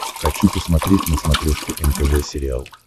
хочу посмотреть на смотрешке нтв сериал